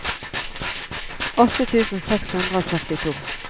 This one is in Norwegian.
åtte tusen seks hundre og førtito